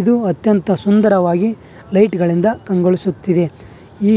ಇದು ಅತ್ಯಂತ ಸುಂದರವಾಗಿ ಲೈಟ್ ಗಳಿಂದ ಕಂಗೊಳಿಸುತ್ತಿದೆ ಈ